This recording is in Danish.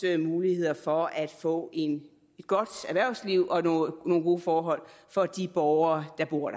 muligheder for at få et godt erhvervsliv og nogle gode forhold for de borgere der bor